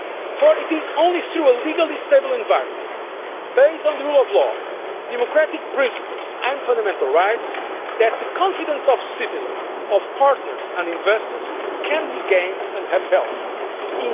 For it is only through a legally stable environment, based on the rule of law, democratic principles and fundamental rights, that the confidence of citizens, partners and investors can be gained and maintained.